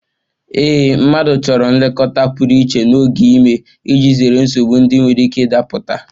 Ee, mmadụ chọrọ nlekọta pụrụ iche n'oge ime iji zere nsogbu ndị nwere ike ịda pụta.